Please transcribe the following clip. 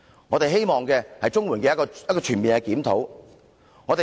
我們希望政府作出全面檢討。